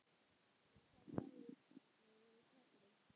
Og hvað sagðirðu við kallinn?